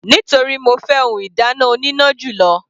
Nítorí mo fẹ́ ohun ìdáná oníná jù lọ.